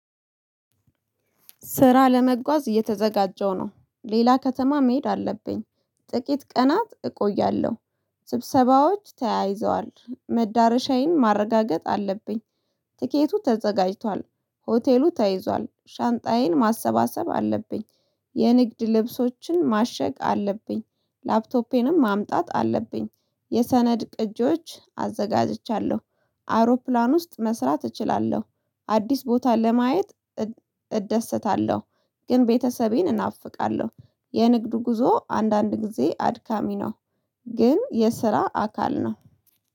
ስራ ለመጓዝ እየተዘጋጀሁ ነው ሌላ ከተማ መሄድ አለብኝ ጥቂት ቀናት እቆያለሁ ስብሰባዎች ተያይዘዋል መዳረሻዬን ማረጋገጥ አለብኝ። ትኬቱ ተዘጋጅቷል ሆቴሉ ተይዟል ሻንጣዬን ማሰባሰብ አለብኝ። የንግድ ልብሶችን ማሸግ አለብኝ ላፕቶፔንም ማምጣት አለብኝ። የሰነድ ቅጂዎች አዘጋጅቻለሁ አውሮፕላን ውስጥ መስራት እችላለሁ። አዲስ ቦታ ለማየት እደሰታለሁ ግን ቤተሰቤን እናፍቃለሁ። የንግድ ጉዞ አንዳንድ ጊዜ አድካሚ ነው። ግን የስራ አካል ነው